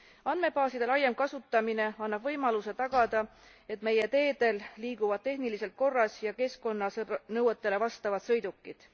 Andmebaaside laiem kasutamine annab võimaluse tagada, et meie teedel liiguvad tehniliselt korras ja keskkonnanõuetele vastavad sõidukid.